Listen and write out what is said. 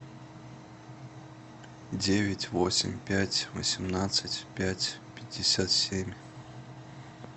девять восемь пять восемнадцать пять пятьдесят семь